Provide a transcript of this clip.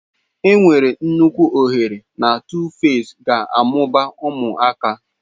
Enwere nnukwu ohere na Tuface ga-amụba ụmụaka.